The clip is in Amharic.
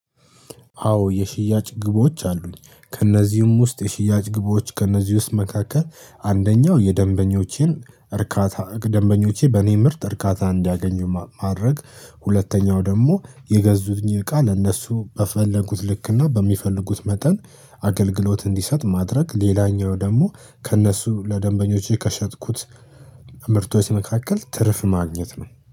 አዎ የሽያጭ ግቦች አሉኝ ከእነዚህም ውስጥ የሽያጭ ግቦች ከእነዚህ ውስጥ መካከል አንደኛው የደንበኞቼን እርካታ ደንበኞቼ በእኔ ምርት እርካታ እንዲያገኙ ማድረግ፤ ሁለተኛው ደግሞ የገዙትኝ እቃ ለእነሱ በፈለጉት ልክና በሚፈልጉት መጠን አገልግሎት እንዲሰጥ ማድረግ ሌላኛው ደግሞ ከእነሱ ለደንበኞች ከሸጥኩት ምርቶች መካከል ትርፍ ማግኘት ነው።